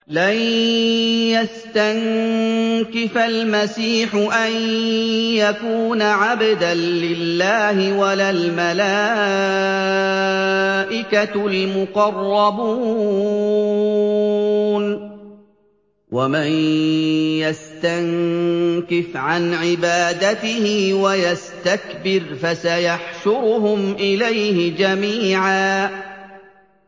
لَّن يَسْتَنكِفَ الْمَسِيحُ أَن يَكُونَ عَبْدًا لِّلَّهِ وَلَا الْمَلَائِكَةُ الْمُقَرَّبُونَ ۚ وَمَن يَسْتَنكِفْ عَنْ عِبَادَتِهِ وَيَسْتَكْبِرْ فَسَيَحْشُرُهُمْ إِلَيْهِ جَمِيعًا